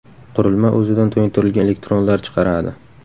Qurilma o‘zidan to‘yintirilgan elektronlar chiqaradi.